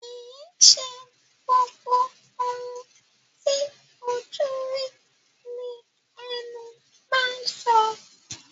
Kìí ṣe gbogbo ohun ti ojú rí ní ẹnu máa ń so.